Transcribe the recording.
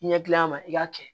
I ɲɛ gilan a ma i k'a kɛ